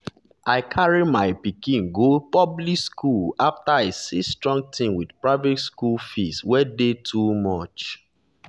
i carry my pikin go public school after i see strong thing with private school fees wey dey too much.